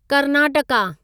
Karnataka